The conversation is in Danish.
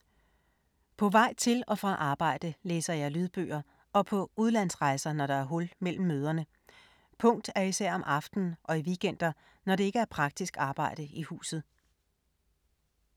På vej til og fra arbejde læser jeg lydbøger og på udlandsrejser, når der er hul mellem møderne. Punkt er især om aftenen og i weekender, når det ikke er praktisk arbejde i huset.